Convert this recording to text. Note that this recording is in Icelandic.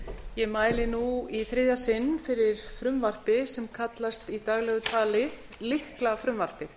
ég mæli nú í þriðja sinn fyrir frumvarpi sem kallast í daglegu tali lyklafrumvarpið